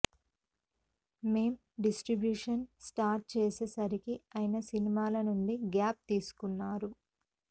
మేం distribution start చేసేసరికి ఆయన సినిమాల నుండి గ్యాప్ తీసుకున్నారు